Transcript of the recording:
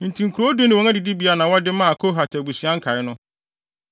Enti nkurow du ne wɔn adidibea na wɔde maa Kohat abusua nkae no.